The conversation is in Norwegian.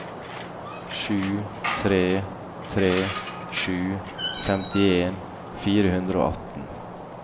sju tre tre sju femtien fire hundre og atten